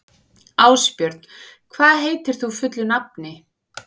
Ásbjörg, hvað heitir þú fullu nafni?